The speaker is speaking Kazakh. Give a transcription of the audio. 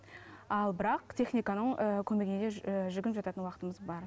ал бірақ техниканың ііі көмегіне де жүгініп жататын уақытымыз бар